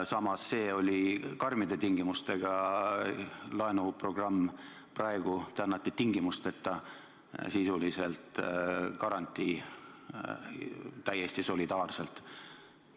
Samas, see oli karmide tingimustega laenuprogramm, praegu te annate sisuliselt tingimusteta garantii täiesti solidaarselt.